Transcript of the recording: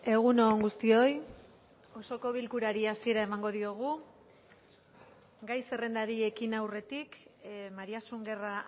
egun on guztioi osoko bilkurari hasiera emango diogu gai zerrendari ekin aurretik mariasun guerra